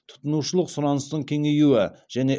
тұтынушылық сұраныстың кеңеюі және